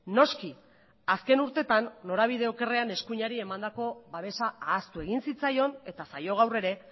noski azken urtetan norabide okerrean eskuinari emandako babesa ahaztu egin zitzaion eta zaio gaur ere